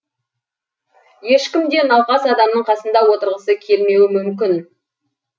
ешкім де науқас адамның қасында отырғысы келмеуі мүмкін